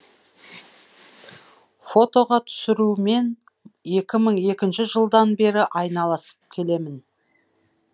фотоға түсірумен екі мың екінші жылдан бері айналысып келемін